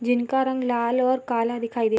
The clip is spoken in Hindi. जिनका रंग लाल और काला दिखाई दे--